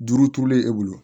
Duuru turulen e bolo